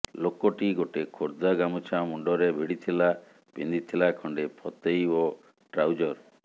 ଲୋକଟି ଗୋଟେ ଖୋର୍ଦ୍ଧା ଗାମୁଛା ମୁଣ୍ଡରେ ଭିଡ଼ିଥିଲା ପିନ୍ଧିଥିଲା ଖଣ୍ଡେ ଫତେଇ ଓ ଟ୍ରାଉଜର